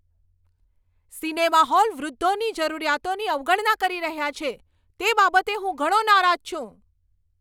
Cinema hall વૃદ્ધોની જરૂરિયાતોની અવગણના કરી રહ્યાં છે, તે બાબતે હું ઘણો નારાજ છું.